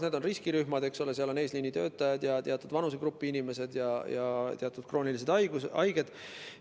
Need on riskirühmad: eesliinitöötajad, teatud vanusegrupi inimesed ja teatud kroonilised haiged.